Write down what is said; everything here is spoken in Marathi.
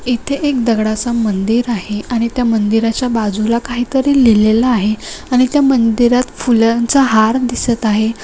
इथे एक दगडाचा मंदिर आहे आणि त्या मंदिराच्या बाजूला काहीतरी लिहलेल आहे आणि त्या मंदिरात फुलांचा हार दिसत आहे.